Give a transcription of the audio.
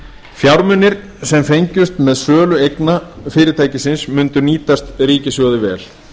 fjármunir sem fengjust með sölu eigna fyrirtækisins mundu nýtast ríkissjóði vel